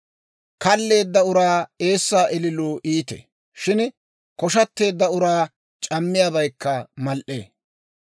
Kalleedda uraa eessaa ililuu iitee; shin koshateedda uraa c'ammiyaabaykka mal"ee.